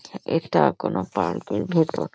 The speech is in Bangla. এটা কোনো পার্ক -এর ভেতর ।